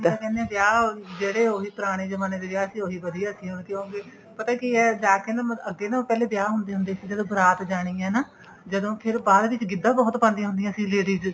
ਤਾਂਹੀ ਤਾਂ ਕਹਿੰਦੇ ਏ ਵਿਆਹ ਉਹੀ ਜਿਹੜੇ ਪੁਰਾਣੇ ਜਮਾਨੇ ਦੇ ਵਿਆਹ ਸੀ ਉਹੀ ਵਧੀਆ ਸੀ ਕਿਉਂਕਿ ਪਤਾ ਕਿ ਏ ਜਾਂਕੇ ਨਾ ਮਤਲਬ ਅੱਗੇ ਨਾ ਪਹਿਲੇ ਵਿਆਹ ਹੁੰਦੇ ਹੁੰਦੇ ਸੀ ਜਦੋਂ ਬਰਾਤ ਜਾਣੀ ਏ ਹੈਨਾ ਜਦੋਂ ਬਾਅਦ ਵਿੱਚ ਗਿੱਧਾ ਬਹੁਤ ਪਾਦੀਆਂ ਹੁੰਦੀਆਂ ਸੀ ladies